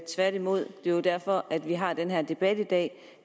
tværtimod det er derfor vi har den her debat i dag